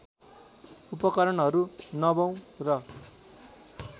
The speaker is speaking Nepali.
उपकरणहरू नवौँ र